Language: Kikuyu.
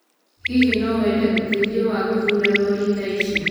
Hihi no wende ũteithio wa gũthuura lori thaa ici?